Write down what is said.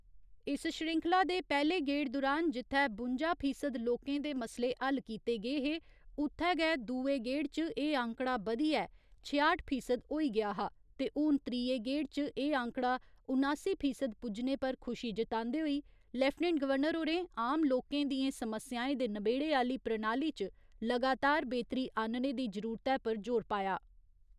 इस श्रृंखला दे पैह्‌ले गेड़ दुरान जित्थै बुंजा फीसद लोकें दे मसले हल कीते गे हे उ'त्थै गै दुए गेड़ च एह् आंकड़ा बधियै छेआठ फीसद होई गेआ हा ते हून त्रीये गेड़ च एह् आंकड़ा उनासी फीसद पुज्जने पर खुशी जतांदे होई लेफ्टिनेंट गवर्नर होरें आम लोकें दियें समस्याएं दे नबेड़े आह्‌ली प्रणाली च लगातार बेह्तरी आह्‌न्ने दी जरूरतै पर जोर पाया।